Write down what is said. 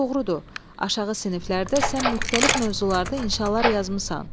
Doğrudur, aşağı siniflərdə sən müxtəlif mövzularda inşaalar yazmısan.